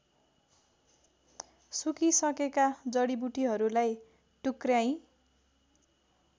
सुकिसकेका जडिबुटीहरूलाई टुक्रयाई